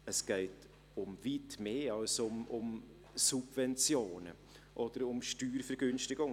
Es geht um weit mehr als um Subventionen oder Steuervergünstigungen.